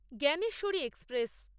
Gyaneshwari express